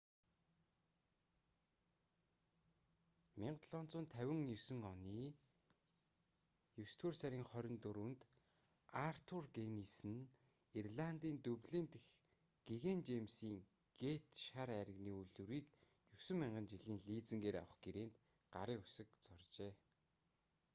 1759 оны есдүгээр сарын 24-нд артур гиннес нь ирландын дублин дахь гэгээн жэймсийн гэйт шар айрагны үйлдвэрийг 9,000 жилийн лизингээр авах гэрээнд гарын үсэг зуржээ